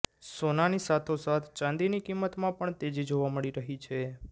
સોનાની સાથોસાથ ચાંદીની કિંમતમાં પણ તેજી જોવા મળી રહી છે